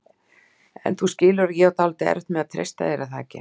En þú skilur að ég á dálítið erfitt með að treysta þér, er það ekki?